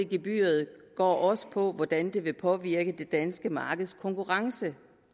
gebyret går også på hvordan det vil påvirke det danske markeds konkurrencedygtighed